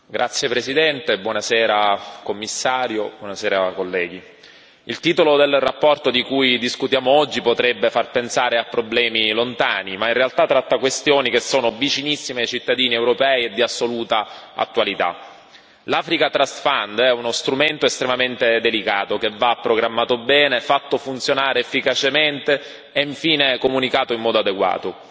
Signor Presidente, onorevoli colleghi, Commissario, il titolo della relazione di cui discutiamo oggi potrebbe far pensare a problemi lontani, ma in realtà tratta questioni che sono vicinissime ai cittadini europei e di assoluta attualità. L' è uno strumento estremamente delicato che va programmato bene, fatto funzionare efficacemente e infine comunicato in modo adeguato.